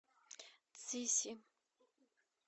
цзиси